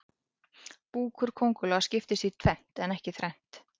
Búkur kóngulóa skiptist í tvennt en ekki þrennt.